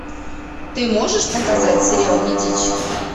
ты можешь показать сериал медичи